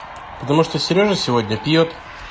потому что сережа сегодня пьёт